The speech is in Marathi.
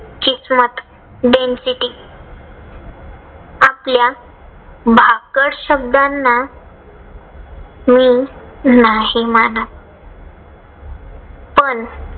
किस्मत destiny असल्या भाकड शब्दांना मी नाही मानत. पण